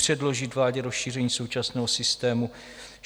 Předložit vládě rozšíření současného systému.